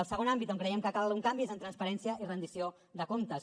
el segon àmbit on creiem que cal un canvi és en transparència i rendició de comptes